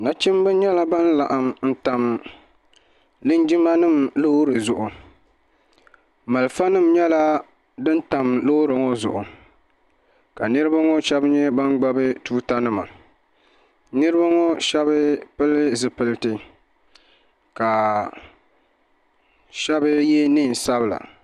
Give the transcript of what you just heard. nachimbi nyɛla ban laɣam n tam linjima nim loori zuɣu malifa nim nyɛla din tam loori ŋo zuɣu ka niraba ŋo shab nyɛ ban gbubi tuuta nima niraba ŋo shab pili zipiliti ka shab yɛ neen sabila